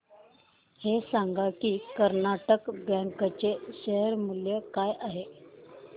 हे सांगा की कर्नाटक बँक चे शेअर मूल्य काय आहे